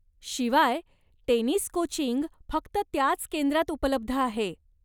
शिवाय, tennis coaching फक्त त्याच केंद्रात उपलब्ध आहे.